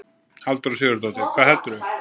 Halldóra Sigurðardóttir: Hvað heldurðu?